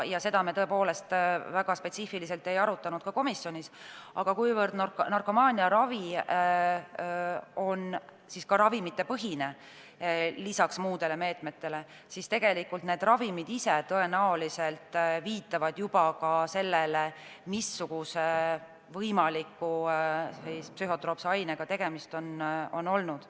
Seda me tõepoolest komisjonis väga spetsiifiliselt ei arutanud, aga kuivõrd narkomaania ravi on ka ravimipõhine, lisaks muudele meetmetele, siis need ravimid ise tõenäoliselt viitavad juba ka sellele, missuguse võimaliku psühhotroopse ainega tegemist on olnud.